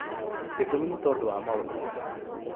gĩtũmi nĩ tondũ wa maũndũ maya: